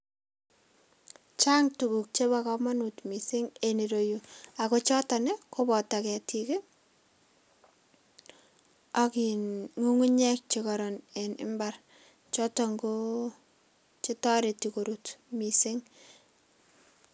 Chang' tuguk chebo komonut missing' en ireyu ago choton ii koboto ketik ii ak in ng'ung'unyek chekoron en mbar choton koo chetoreti korut missing'.